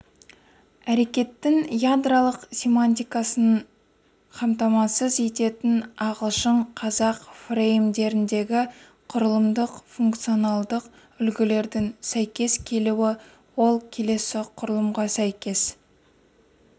әрекеттің ядролық семантикасын қамтамасыз ететін ағылшын-қазақ фреймдеріндегі құрылымдық функционалдық үлгілердің сәйкес келуі ол келесі құрылымға сәйкес